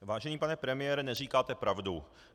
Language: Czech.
Vážený pane premiére, neříkáte pravdu.